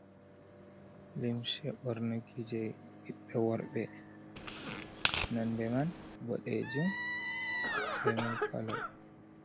Limshe ɓornaki je ɓiɓɓe worɓe nonde man boɗejum be mil kolo.